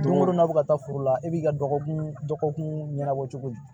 Don o don n'a bɛ ka taa foro la e b'i ka dɔgɔkun dɔgɔkun ɲɛnabɔ cogo di